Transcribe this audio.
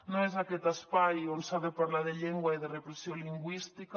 no és aquest espai on s’ha de parlar de llengua i de repressió lingüística